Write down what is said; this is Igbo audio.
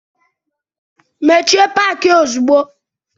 Mechie paki a ozugbo!